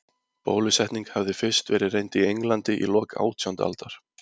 Bólusetning hafði fyrst verið reynd í Englandi í lok átjándu aldar.